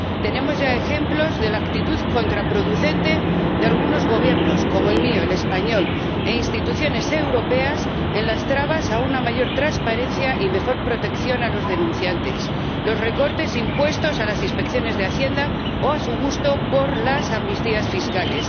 Tenemos ya ejemplos de la actitud contraproducente de algunos Gobiernos —como el mío, el español— e instituciones europeas en las trabas a una mayor transparencia y mejor protección de los denunciantes, los recortes impuestos a las inspecciones de Hacienda o su gusto por las amnistías fiscales.